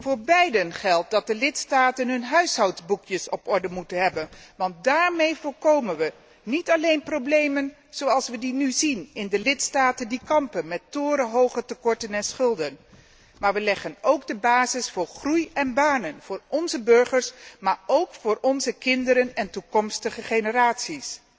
Voor beide geldt dat de lidstaten hun huishoudboekjes op orde moeten hebben, want daarmee voorkomen wij niet alleen problemen zoals we die nu zien in de lidstaten die kampen met torenhoge tekorten en schulden, maar leggen we ook de basis voor groei en banen voor onze burgers, en ook voor onze kinderen en toekomstige generaties.